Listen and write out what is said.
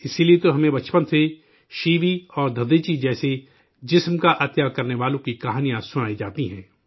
اس لیے تو ہمیں بچپن سے شیوی اور ددھیچی جیسے عظیم لوگوں کی کہانیاں سنائی جاتی ہیں